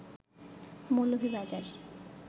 Moulvibazar